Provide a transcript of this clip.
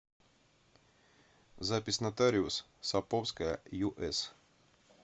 запись нотариус саповская юс